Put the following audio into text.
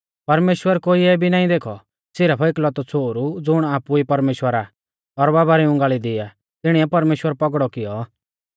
परमेश्‍वर कोईऐ केभी नाईं देखौ सिरफ एकलौतौ छ़ोहरु ज़ुण आपु ई परमेश्‍वर आ और बाबा री उंगाल़ी दी आ तिणिऐ परमेश्‍वर पौगड़ौ कियौ